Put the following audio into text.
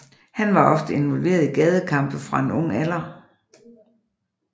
Han var ofte involveret i gadekampe fra en ung alder